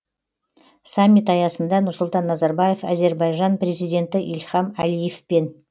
саммит аясында нұрсұлтан назарбаев әзербайжан президенті ильхам алиевпен